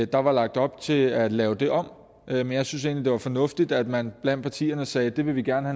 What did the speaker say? der var lagt op til at lave det om men jeg synes egentlig at det var fornuftigt at man blandt partierne sagde at det vil vi gerne